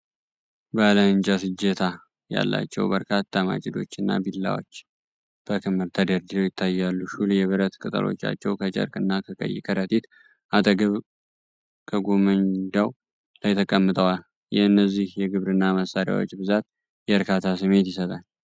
ባለ እንጨት እጀታ ያላቸው በርካታ ማጭዶች እና ቢላዎች በክምር ተደርድረው ይታያሉ። ሹል የብረት ቅጠሎቻቸው ከጨርቅ እና ከቀይ ከረጢት አጠገብ ከጎመንዳው ላይ ተቀምጠዋል። የእነዚህ የግብርና መሳሪያዎች ብዛት የእርካታ ስሜት ይሰጣል።